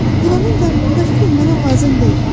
İlanın qarnında fil mənə lazım deyil.